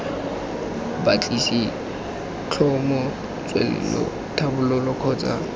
batlisisa tlhomo tswelelo tlhabololo kgotsa